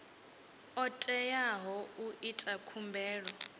o teaho u ita khumbelo